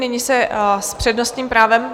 Nyní se s přednostním právem...